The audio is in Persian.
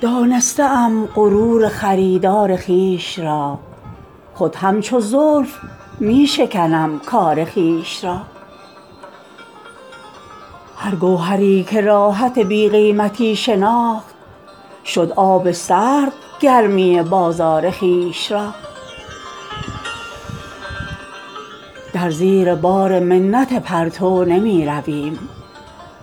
دانسته ام غرور خریدار خویش را خود همچو زلف می شکنم کار خویش را هر گوهری که راحت بی قیمتی شناخت شد آب سرد گرمی بازار خویش را در زیر بار منت پرتو نمی رویم